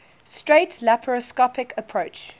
straight laparoscopic approach